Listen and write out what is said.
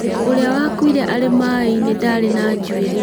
Urĩa wakuire arĩ maaĩ-inĩ ndari na njuĩrĩ